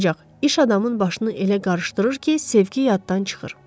Ancaq iş adamın başını elə qarışdırır ki, sevgi yaddan çıxır.